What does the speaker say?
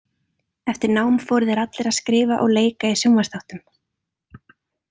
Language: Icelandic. Eftir nám fóru þeir allir að skrifa og leika í sjónvarpsþáttum.